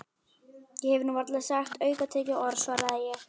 Ég hef nú varla sagt aukatekið orð svaraði ég.